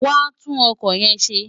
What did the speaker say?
Wàá tún ọkọ̀ yẹn ṣe!